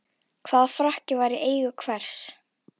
Hvaða frakki var í eigu hvers?